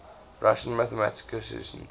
russian mathematicians